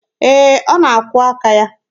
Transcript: Ee, ọ na-akwụọ aka ya.